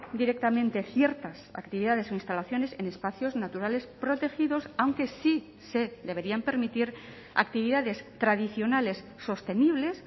directamente ciertas actividades o instalaciones en espacios naturales protegidos aunque sí se deberían permitir actividades tradicionales sostenibles